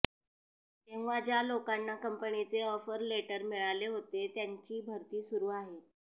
तेव्हा ज्या लोकांना कंपनीचे ऑफर लेटर मिळाले होते त्यांची भरती सुरू आहे